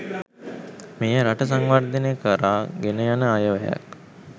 මෙය රට සංවර්ධනය කරා ගෙනයන අයවැයක්